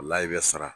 O la i bɛ sara